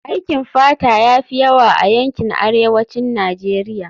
Aikin fata ya fi yawa a yankin arewacin Najeriya